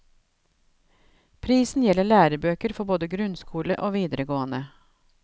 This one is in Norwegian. Prisen gjelder lærebøker for både grunnskole og videregående.